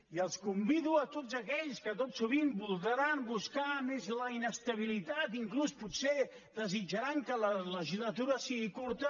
i els convido a tots aquells que tot sovint voldran buscar més la inestabilitat inclús potser desitjaran que la legislatura sigui curta